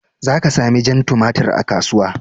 Za ka sami jan tumatir a kasuwa.